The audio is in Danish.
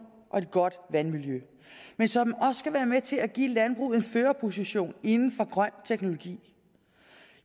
og et godt vandmiljø men som også skal være med til at give landbruget en førerposition inden for grøn teknologi